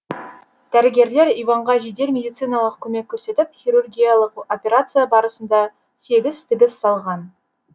дәрігерлер иванға жедел медициналық көмек көрсетіп хирургиялық операция барысында сегіз тігіс салған